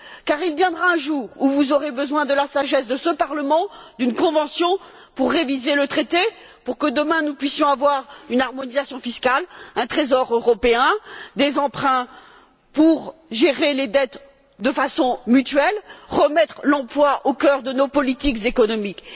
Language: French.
En effet, il viendra un jour où vous aurez besoin de la sagesse de ce Parlement, d'une Convention pour réviser le traité, afin que nous puissions avoir demain une harmonisation fiscale, un trésor européen, des emprunts pour gérer les dettes de façon mutuelle et remettre l'emploi au cœur de nos politiques économiques.